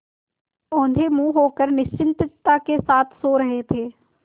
औंधे मुँह होकर निश्चिंतता के साथ सो रहे थे